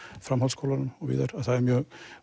framhaldsskólunum og víðar að það er mjög